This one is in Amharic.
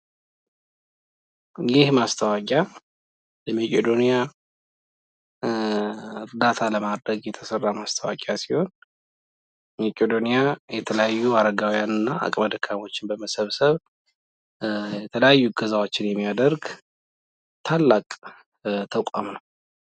ይህ ማስታወቂያ ለመቄዶንያ እርዳታ ለማድረግ የተሰራ ማስታወቂያ ሲሆን ሜቄዶንያ የተለያዩ አረጋዊያንና አቅመ ደካሞችን በመሰብሰብ የተለያዩ እገዛዎችን የሚያደርግ ታላቅ ተቋም ነው።